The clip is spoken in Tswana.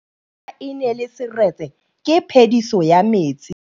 Fa pula e nelê serêtsê ke phêdisô ya metsi.